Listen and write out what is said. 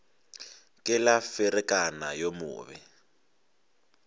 ke la ferekana yo mobe